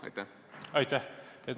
Aitäh!